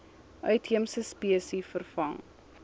uitheemse spesies vervang